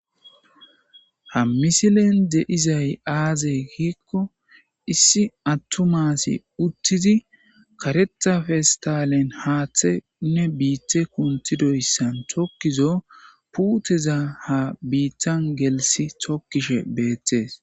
ha misilen de7izay aaze giikko issi attu maasi uttidi kareta festalen haaththeunne biithe kuntidoyssan tokkizo puuteza ha biittan gelisi tokkishe beettees